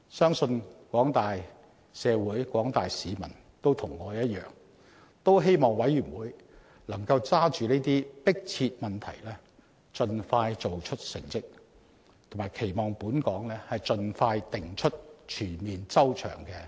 相信廣大社會及市民也與我一樣，希望委員會能抓緊這些迫切問題盡快做出成績，並期望本港盡快制訂全面及周詳的保護兒童政策。